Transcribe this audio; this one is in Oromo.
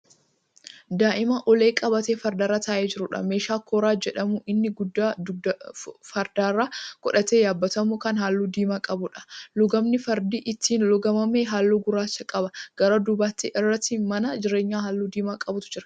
Daa'ima ulee qabatee fardarra taa'ee jiruudha. meeshaan kooraa jedhamu inni dugda fardarra godhatee yaabbatamu Kan halluu diimaa qabuudha. lugaamni fardichi ittiin lugaamame halluu gurraacha qaba. gara duuba isaatti mana jireenyaa halluu diimaa qabutu Jira.